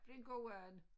Blev en god and